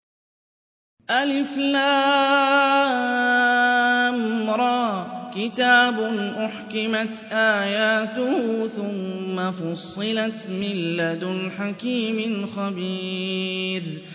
الر ۚ كِتَابٌ أُحْكِمَتْ آيَاتُهُ ثُمَّ فُصِّلَتْ مِن لَّدُنْ حَكِيمٍ خَبِيرٍ